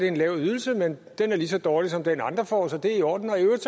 en lav ydelse men den er lige så dårlig som den andre får så det er i orden og i øvrigt